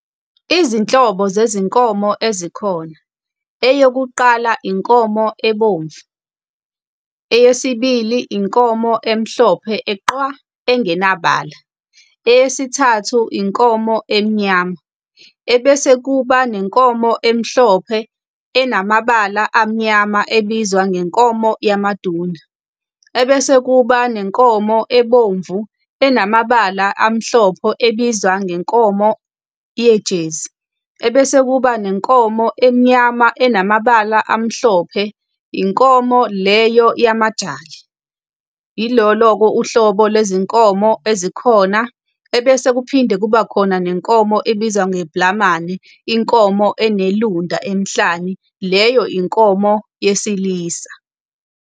Izinhlobo zezinkomo ezikhona. Eyokuqala, inkomo ebomvu, eyesibili, inkomo emhlophe eqwa, engenabafana, eyesithathu, inkomo emnyama. Ebese kuba nenkomo emhlophe, enamabala amnyama ebizwa ngenkomo yaMaduna. Ebese kuba nenkomo ebomvu enamabala amhlophe ebizwa ngenkomo yejezi. Ebese kuba nenkomo emnyama enamabala amhlophe, inkomo leyo yamaJali. Ilolo-ke uhlobo lwezinkomo ezikhona. Ebese kuphinde kuba khona nenkomo ebizwa ngebhlamane, inkomo enelunda emhlani, leyo inkomo yesilisa.